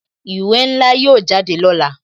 Ìwé ńlá yóò jáde lọ́la